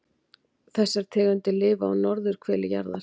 Þessar tegundir lifa á norðurhveli jarðar.